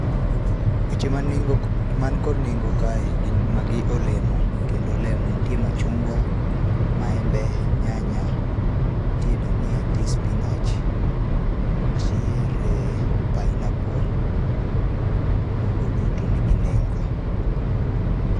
Weche ma neng'o, man kod neng'o kae gin, magi olemo kendo olemo nitie machungwa, maembe, nyanya, nitie dhania, nitie spinach, nitiere pineapple, mago duto nigi nengo